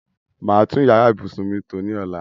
Màá tún yàrá ìbùsùn mi tò ní ọ̀la.